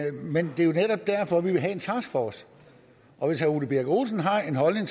men det er jo netop derfor vi vil have en taskforce og hvis herre ole birk olesen har den holdning